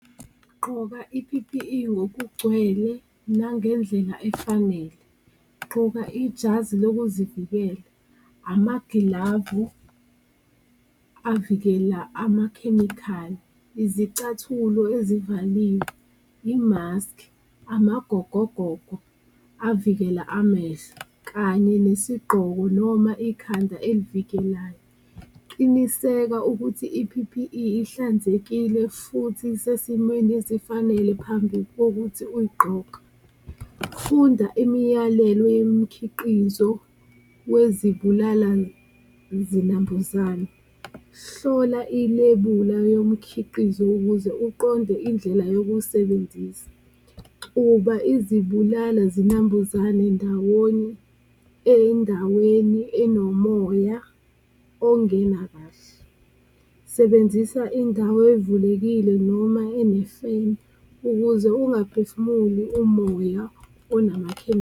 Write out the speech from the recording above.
Gqoka i-P_P_E ngokugcwele nangendlela efanele, gqoka ijazi lokuzivikela, amagilavu avikela amakhemikhali, izicathulo ezivaliwe, imaskhi, amagogogogo avikela amehlo, kanye nesiqonqo noma ikhanda elivikelayo. Qinisekisa ukuthi i-P_P_E ihlanzekile futhi isesimweni esifanele phambi kokuthi uyigqoke, funda imiyalelo yomikhiqizo yezibulala-zinambuzane, hlola ilebula yomkhiqizo ukuze uqonde indlela yokuwusebenzisa. Xuba izibulala-zinambuzana ndawonye endaweni enomoya ongena kahle, sebenzisa indawo evulekile noma ene-fan ukuze ungaphefumuli umoya onamakhemikhali.